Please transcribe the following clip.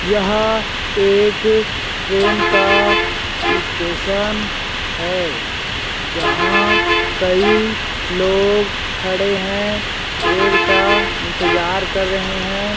यह एक ट्रेन का स्टेशन है जहाँ कई लोग खड़े है रेल का इंतज़ार कर रहे हैं।